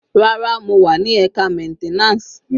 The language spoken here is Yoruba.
Rárá, mo wà ni ẹka maintenance.